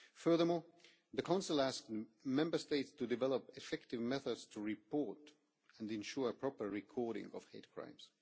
Furthermore, the Council asked Member States to develop effective methods to report and ensure proper recording of hate crimes.